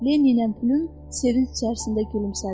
Lenni ilə Pülüm sevinc içərisində gülümsədi.